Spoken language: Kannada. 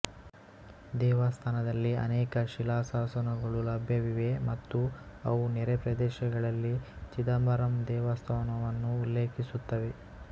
ದೇವಸ್ಥಾನದಲ್ಲಿ ಅನೇಕ ಶಿಲಾಶಾಸನಗಳು ಲಭ್ಯವಿವೆ ಮತ್ತು ಅವು ನೆರೆ ಪ್ರದೇಶಗಳಲ್ಲಿ ಚಿದಂಬರಂ ದೇವಸ್ಥಾನವನ್ನು ಉಲ್ಲೇಖಿಸುತ್ತವೆ